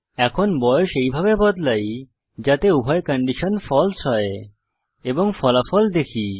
এখন বয়স এইভাবে বদলাই যাতে উভয় কন্ডিশন ফালসে হয় এবং ফলাফল দেখি